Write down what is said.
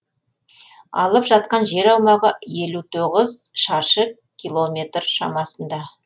алып жатқан жер аумағы елу тоғыз шаршы километр шамасында